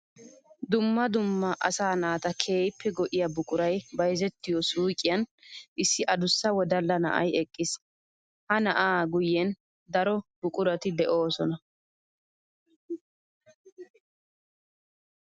Dumma dumma asaa naata keehippe go'iya buquray bayzzettiyo suyqqiyan issi adussa wodalla na'ay eqqiis. Ha naa'aa guyen daro buquratti de'osonna.